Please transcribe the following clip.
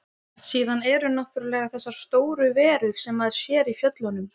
Síðan eru náttúrlega þessar stóru verur sem maður sér í fjöllunum.